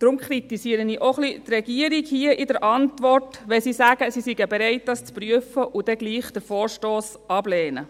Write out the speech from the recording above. Darum kritisiere ich auch ein bisschen die Regierung, wenn sie hier in der Antwort sagt, sie sei bereit, dies zu prüfen, und den Vorstoss dann trotzdem ablehnt.